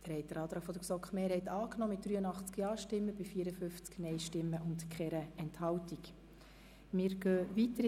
Sie haben den Antrag GSoK-Mehrheit/Regierungsrat angenommen mit 83 Ja- gegen 54 Nein-Stimmen ohne Enthaltungen.